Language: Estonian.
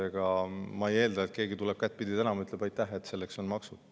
Ega ma ei eelda, et keegi tuleb kättpidi tänama, ütleb aitäh, et on maksud.